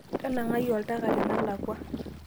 tanangai oltaka tenelakuwa